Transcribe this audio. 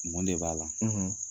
Mun de b'a la